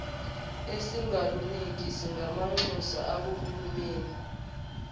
esingaluniki singamanxusa akahulumeni